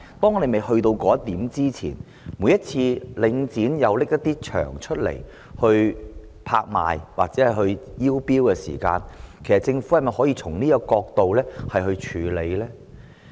在我們未到達那一步前，每次領展推出一些場地拍賣或招標時，其實政府可否從這角度來處理？